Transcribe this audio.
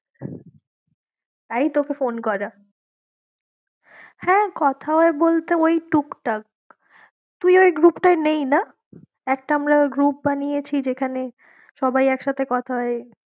তাই তোকে phone করা হ্যাঁ, কথা হয় বলতে ওই টুকটাক তুই ওই group টায় নেই না? একটা আমরা group বানিয়েছি যেখানে সবাই একসাথে কথা হয়।